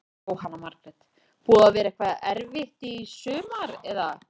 Jóhanna Margrét: Búið að vera eitthvað erfitt í sumar eða?